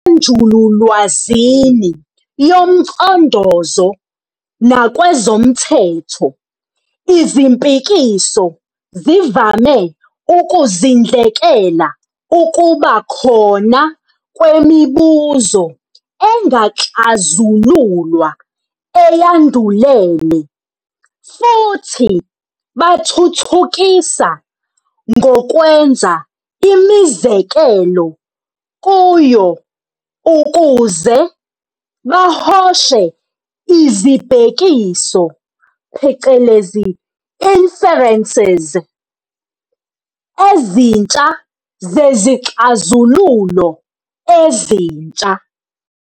Njengasenjululwazini yomcondozo nakwezomthetho, izimpikiso zivame ukuzindlekela ukuba khona kwemibuzo engakaxazululwa eyandulele, futhi bathuthukisa ngokwenza imizekelo kuyo ukuze bahoshe izibhekiso, phecelezi "inferences", ezintsha zezixazululo ezintsha.